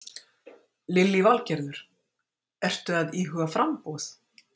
Lillý Valgerður: Ertu að íhuga framboð?